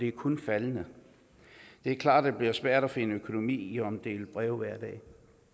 er kun faldende det er klart at det bliver svært at finde økonomi i at omdele breve hver dag